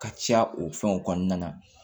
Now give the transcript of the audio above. Ka caya o fɛnw kɔnɔna na